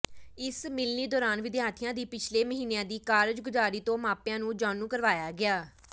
ਇਸ ਮਿਲਣੀ ਦੌਰਾਨ ਵਿਦਿਆਰਥੀਆਂ ਦੀ ਪਿਛਲੇ ਮਹੀਨਿਆਂ ਦੀ ਕਾਰਗੁਜਾਰੀ ਤੋਂ ਮਾਪਿਆਂ ਨੂੰ ਜਾਣੂ ਕਰਵਾਇਆ ਗਿਆ